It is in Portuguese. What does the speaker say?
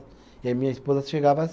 E a minha esposa chegava às